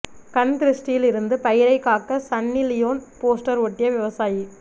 கண் திருஷ்டியில் இருந்து பயிரைக் காக்க சன்னி லியோன் போஸ்டர் ஒட்டிய விவசாயி